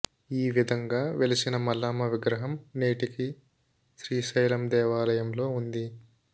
ఆ విధంగా వెలసిన మల్లమ్మ విగ్రహం నేటికీ శ్రీశైలం దేవాలయంలో ఉంది